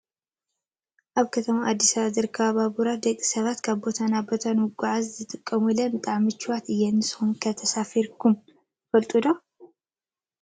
ኣብ ከተማ ኣዲስ ኣበባ ዝርከባ ባቡራት ደቂ ሰባት ካብ ቦታ ናብ ቦታ ንመጓዓዓዝያ ዝጥቀሙለን ብጣዕሚ ምቹዋት እየን። ንስኩም ከ ተሳፊርኩም ትፈልጡ ዶ?